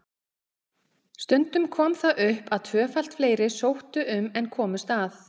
Stundum kom það upp að tvöfalt fleiri sóttu um en komust að.